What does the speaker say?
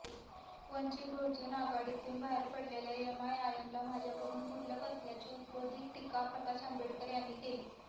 वंचित बहुजन आघाडीतून बाहेर पडलेल्या एमआयएमला माझ्याकडून गुडलक असल्याची उपरोधिक टीका प्रकाश आंबेडकर यांनी केली